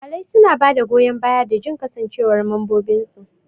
Iyalai suna ba da goyan bayan da jin kasancewar mambobinsu.